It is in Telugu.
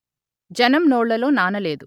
జనం నోళ్లలో నానలేదు